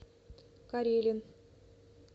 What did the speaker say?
карелин